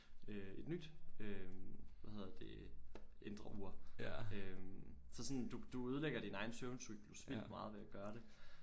Øh et nyt øh hvad hedder det indre ur øh så sådan du du ødelægger din egen søvncyklus vildt meget ved at gøre det